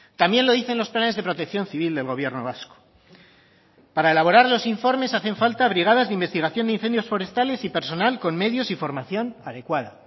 también lo dicen los planes de protección civil del gobierno vasco para elaborar los informes hacen falta brigadas de investigación de incendios forestales y personal con medios y formación adecuada